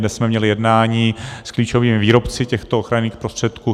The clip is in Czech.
Dnes jsme měli jednání s klíčovými výrobci těchto ochranných prostředků.